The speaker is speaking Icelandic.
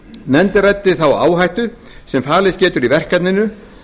nefndin ræddi þá áhættu sem falist getur í verkefninu